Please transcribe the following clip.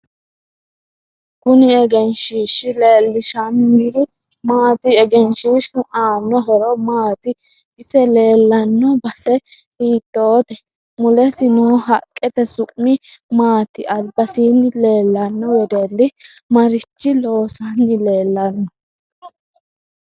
Kuni egenshiishi leelishaniri maati egenshiishu aano horo maati isi leelanno base hiitoote mulesi noo haqqete su'mi maati albasiini leelanno wedelli maricho loosanni leelanno